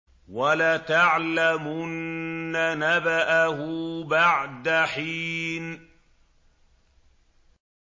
وَلَتَعْلَمُنَّ نَبَأَهُ بَعْدَ حِينٍ